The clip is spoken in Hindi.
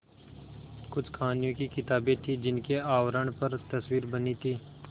कुछ कहानियों की किताबें थीं जिनके आवरण पर तस्वीरें बनी थीं